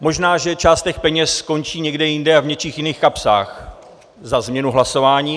Možná že část těch peněz skončí někde jinde a v něčích jiných kapsách za změnu hlasování.